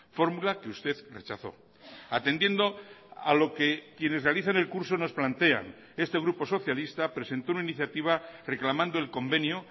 fórmula que usted rechazó atendiendo a lo que quienes realicen el curso nos plantean este grupo socialista presentó una iniciativa reclamando el convenio